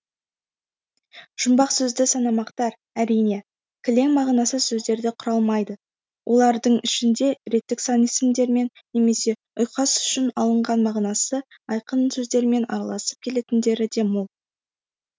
жұмбақ сөзді санамақтар әрине кілең мағынасыз сөздерден құралмайды олардың ішінде реттік сан есімдермен немесе ұйқас үшін алынған мағынасы айқын сөздермен араласып келетіндері де мол